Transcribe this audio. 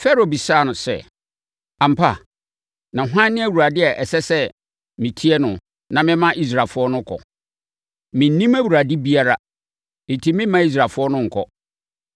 Farao bisaa sɛ, “Ampa? Na hwan ne Awurade a ɛsɛ sɛ metie no na mema Israelfoɔ no kɔ? Mennim Awurade biara enti meremma Israelfoɔ no nkɔ.”